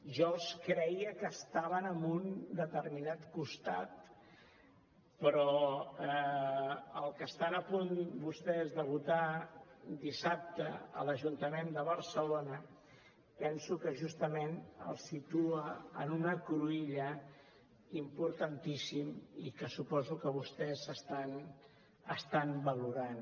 jo creia que estaven en un determinat costat però el que estan a punt vostès de votar dissabte a l’ajuntament de barcelona penso que justament els situa en una cruïlla importantíssima i que suposo que vostès estan valorant